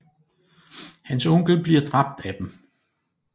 Hans onkel bliver dræbt af dem